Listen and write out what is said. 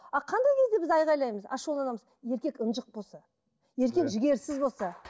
а қандай кезде біз айқайлаймыз ашуланамыз еркек ынжық болса еркек жігерсіз болса